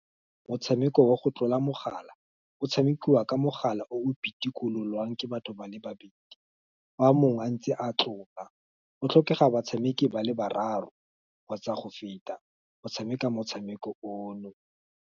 Motshameko wa go tlola mogala, o tshamekiwa ka mogala o o pitikololwang ke batho ba le babedi, fa mongwe a ntse a tlola, go tlhokega batshameki ba le bararo, kgotsa go feta, go tshameka motshameko ono.